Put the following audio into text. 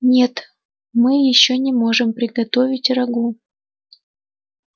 нет мы ещё не можем приготовить рагу